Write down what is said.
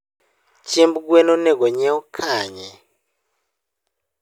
Chiemb gwen onego onyiew kanye?